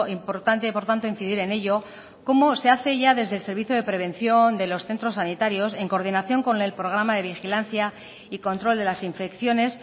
importante por tanto incidir en ello como se hace ya desde el servicio de prevención de los centros sanitarios en coordinación con el programa de vigilancia y control de las infecciones